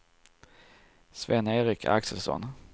Sven-Erik Axelsson